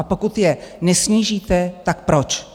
A pokud je nesnížíte, tak proč?